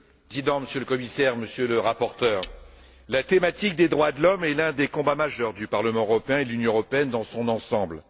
Monsieur le Président, Monsieur le Commissaire, Monsieur le Rapporteur, la thématique des droits de l'homme est l'un des combats majeurs du Parlement européen et de l'Union européenne dans son ensemble.